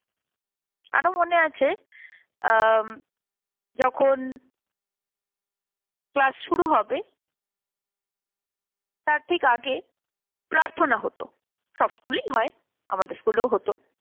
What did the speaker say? আরো মনে আছে আম যখন ক্লাস শুরু হবে তার ঠিক আগে প্রার্থনা হত, সব স্কুলেই হয় আমাদের স্কুলেও হত।